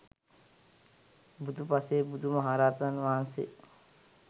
බුදු, පසේ බුදු, මහරහතන් වහන්සේ